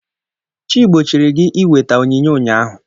Chi gbochiri gi iweta onyinye ụnyahụ!